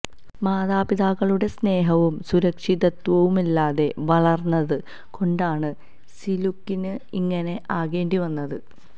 മാതാപിതാക്കളുടെ സ്നേഹവും സുരക്ഷിതത്വവുമില്ലാതെ വളര്ന്നത് കൊണ്ടാണ് സിലുക്കിന് ഇങ്ങനെ ആകേണ്ടി വന്നത്